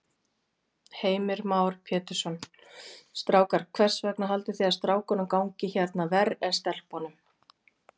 Heimir Már Pétursson: Strákar, hvers vegna haldið þið að strákunum gangi hérna ver en stelpunum?